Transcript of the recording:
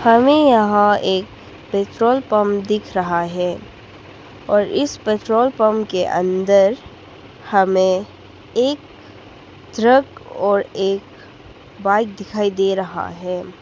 हमें यहां एक पेट्रोल पंप दिख रहा है और इस पेट्रोल पंप के अंदर हमें एक ट्रक और एक बाइक दिखाई दे रहा है।